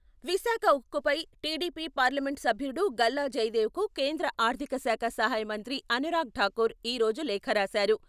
విశాఖ ఉక్కుపై TDP parliament సభ్యుడు గల్లా జయదేవ్కు కేంద్ర ఆర్థిక శాఖ సహాయమంత్రి అనురాగ్ ఠాకూర్ ఈ రోజు లేఖ రాశారు.